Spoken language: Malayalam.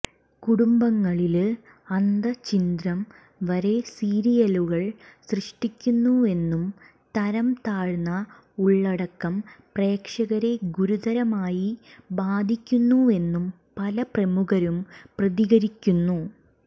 കുടുംബങ്ങളില് അന്തഃഛിന്ദ്രം വരെ സീരിയലുകൾ സൃഷ്ടിക്കുന്നുവെന്നും തരം താഴ്ന്ന ഉള്ളടക്കം പ്രേക്ഷകരെ ഗുരുതരമായി ബാധിക്കുന്നുവെന്നും പല പ്രമുഖരും പ്രതികരിക്കുന്നു